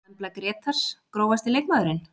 Embla Grétars Grófasti leikmaðurinn?